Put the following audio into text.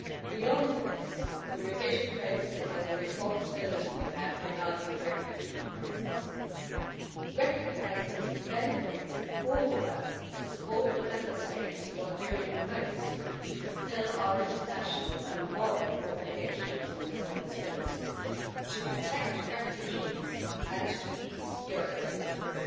Beyond this, the revision focuses on the responsibility we have regarding the refugee crisis. Recognising it benefits all of us to support the Member States who are doing most to fulfil our international and moral obligations and responsibilities to protect refugees and to police Europe's borders.